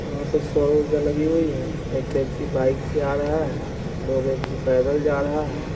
यहाँ पर सौर्य ऊर्जा लगी हुई है| एक व्यक्ति बाइक से आ रहा है दो व्यक्ति पैदल जा रहा है।